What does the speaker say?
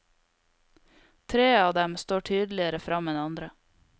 Tre av dem står tydeligere frem enn andre.